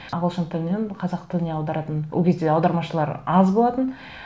ағылшын тілінен қазақ тіліне аударатын ол кезде аудармашылар аз болатын